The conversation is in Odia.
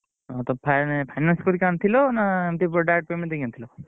ହଁ ତ ଫାଇ~ finance କରିକି ଆଣିଥିଲ ଏମିତି ପୁରା direct payment କରିକି ଆଣିଥିଲ?